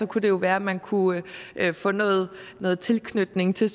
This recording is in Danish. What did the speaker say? kunne det jo være at man kunne få noget noget tilknytning til